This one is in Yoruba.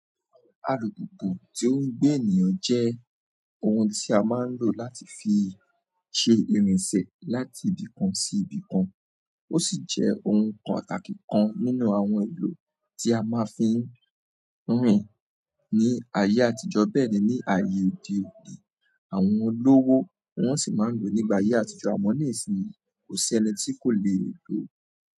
Alùpùpù tí ó ń gbé ènìyàn jẹ́ ohun tí a máa ń lò láti fi ṣe ìrìnsẹ̀ láti ibì kan sí ibì kan, ó sì jẹ́ ohun kan pàtàkì kan nínú àwọn ohun èlò tí a máa fi ń rìn ní ayé àtijọ́, bẹ́ẹ̀ ni ní ayé òde òní, àwọn olówó wọ́n sì máa ń lò nígbà ayé àtijọ́, àmọ́ nísìnyí kò sí ẹni tí kò lè lò ó.